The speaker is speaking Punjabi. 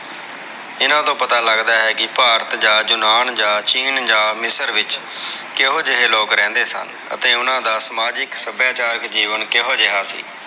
ਇਹਨਾਂ ਤੋਂ ਪਤਾ ਲੱਗਦਾ ਹੈ ਕਿ ਭਾਰਤ ਜਾ ਯੂਨਾਨ ਜਾ ਚੀਨ ਜਾ ਮਿਸਰ ਵਿਚਕੇਹੋ ਜਿਹੇ ਲੋਗ ਰਹਿੰਦੇ ਸਨ ਤੇ ਓਹਨਾ ਦਾ ਸਮਾਜਿਕ ਸੱਭਿਆਚਾਰਕ ਜੀਵਨ ਕਿਹੋ ਜੇਹਾ ਸੀ।